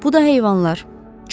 Bu da heyvanlar.